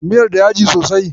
Miyar da yaji sosai?